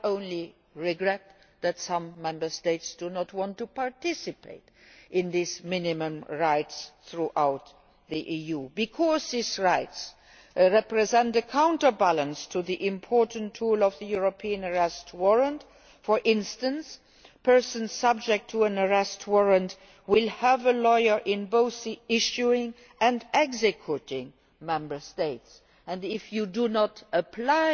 EU. I only regret that some Member States do not want to participate in this system of minimum rights throughout the EU, because these rights represent a counterbalance to the important tool of the European Arrest Warrant. For instance, persons subject to an Arrest Warrant will have a lawyer in both the issuing and the executing Member State. If you do not